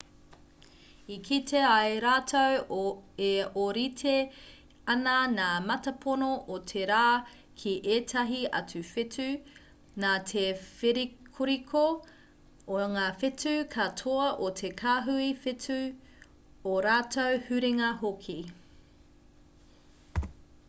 i kite ai rātou e ōrite ana ngā mātāpono o te rā ki ētahi atu whetū nā te whērikoriko o ngā whetū katoa o te kāhui whetū ō rātou huringa hoki